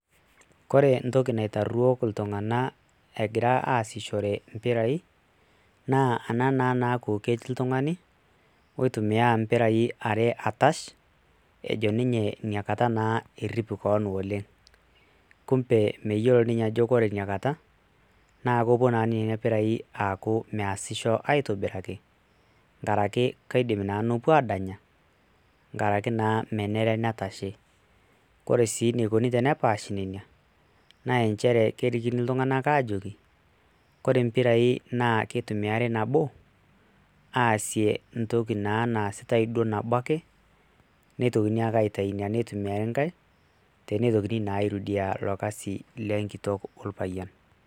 Ore entoki naitarruoo iltung'anak egira aasishore impirai naa ena naa naaku ketii oltung'ani oitumia impirai are atash ejo ninye inakata naa errip kewon oleng' kumbe meyiolo ninye ajo ore inakata naa kepuo nena pirai aaku meesisho aitobiraki tenkaraki keidim naa nepuo aadanya nkaraki naa menare netashi, ore sii enikoni tenepaashi ine naa nchere kekikini iltung'anak aajoki naa kore impirai kitumiyai nabo aasi entoki naaduo naasitai nabo ake nitokini ake aitayu neitumiayai enkae tenitokini naa airudia ilo kasi le enkitok orpayian.